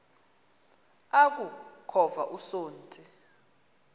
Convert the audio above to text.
aku khova usonti